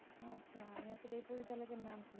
পরিচালকের নাম,